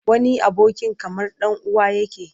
Wani abokin kamar ɗan uwa yake.